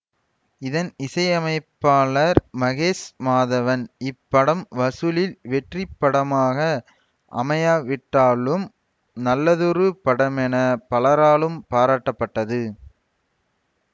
இதன் இசையமைப்பாளர் மகேஷ் மாதவன் இப்படம் வசூலில் வெற்றி படமாக அமையாவிட்டாலும் நல்லதொரு படமென பலராலும் பாராட்டப்பட்டது